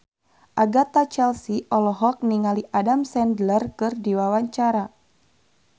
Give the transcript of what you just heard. Agatha Chelsea olohok ningali Adam Sandler keur diwawancara